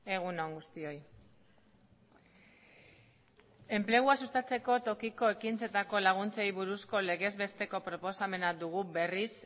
egun on guztioi enplegua sustatzeko tokiko ekintzetako laguntzei buruzko legezbesteko proposamena dugu berriz